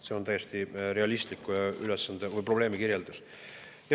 See on täiesti realistlik probleemi kirjeldus.